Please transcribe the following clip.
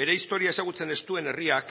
bere historia ezagutzen ez duen herriak